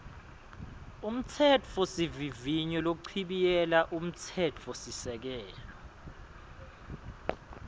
umtsetfosivivinyo lochibiyela umtsetfosisekelo